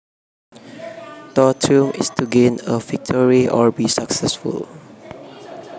To triumph is to gain a victory or be successful